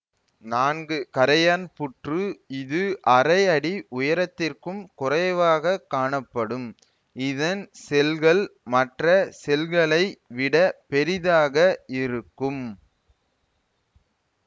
நான்கு கறையான் புற்று இது அரைஅடி உயரத்திற்கும் குறைவாக காணப்படும் இதன் செல்கள் மற்ற செல்களை விட பெரிதாக இருக்கும்